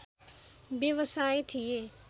व्यवसाय थिए